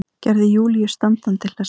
Gerði Júlíu standandi hlessa.